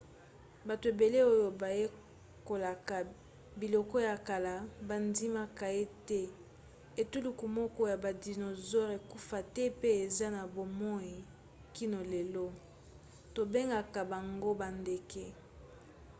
bato ebele oyo bayekolaka biloko ya kala bandimaka ete etuluku moko ya badisonosaure ekufa te pe eza na bomoi kino lelo. tobengaka bango bandeke